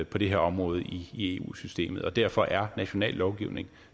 på det her område i eu systemet og derfor er national lovgivning